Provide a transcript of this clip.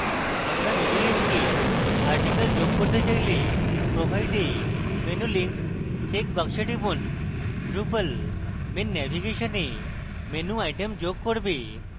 আমরা menu link a article যোগ করতে চাইলে provide a menu link চেকবাক্সে টিপুন drupal main নেভিগেশনে menu item যোগ করবে